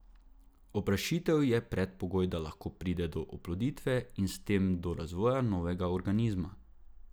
Oprašitev je predpogoj, da lahko pride do oploditve in s tem do razvoja novega organizma.